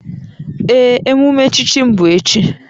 Ee, emume echichi m bụ echi